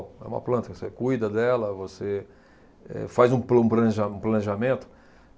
É uma planta, que você cuida dela, você, eh, faz um pla, um planeja, planejamento.